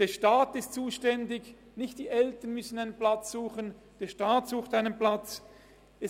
der Staat ist zuständig, der Staat sucht einen Platz – es sind nicht die Eltern, die einen Platz suchen müssen.